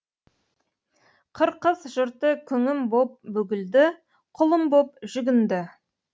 қырқыз жұрты күңім боп бүгілді құлым боп жүгінді